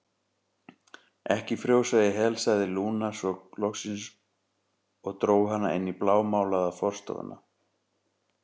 Ekki frjósa í hel, sagði Lúna svo loksins og dró hana inn í blámálaða forstofuna.